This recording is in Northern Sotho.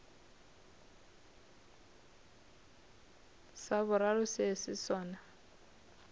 sa boraro se se sona